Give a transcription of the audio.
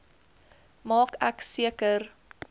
maak ek seker